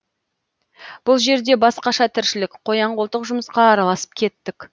бұл жерде басқаша тіршілік қоян қолтық жұмысқа араласып кеттік